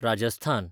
Rajasthan